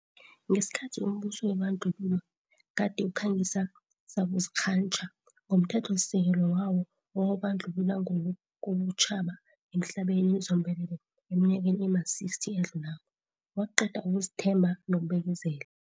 Ngesikhathi umbuso webandlululo gade ukhangisa sakuzikghantjha ngomthethosisekelo wawo owawubandlulula ngokobutjhaba emhlabeni zombelele eminyakeni ema-60 eyadlulako, waqeda ukuzethemba nokubekezela.